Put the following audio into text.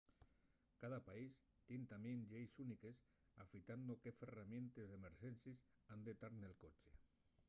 cada país tien tamién lleis úniques afitando qué ferramientes d’emerxencies han tar nel coche